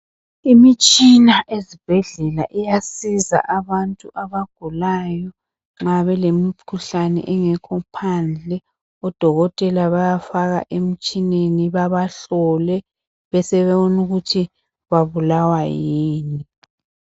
Imitshina ezibhedlela iyasiza abantu abagulayo nxa belemikhuhlane engekho phandle odokotela bayafaka emitshineni babahlole besebebona ukuthi babulawa yini